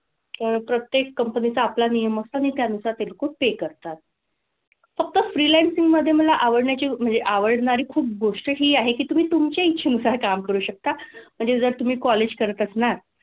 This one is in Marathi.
पण प्रत्येक company चा आपला नियम असतं आणि त्यानुसार ते लोकं pay करतात. फक्त freelancing मधे मला आवडण्याची म्हणजे आवडणारी खूप गोष्ट हि आहे की तुम्ही तुमच्या इच्छेनुसार काम करू शकता. म्हणजे जर तुम्ही college करत असणार,